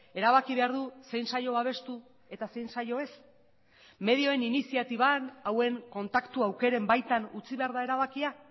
erabaki behar du zein saio babestu eta zein saio ez medioen iniziatiban hauen kontaktu aukeren baitan utzi behar da erabakia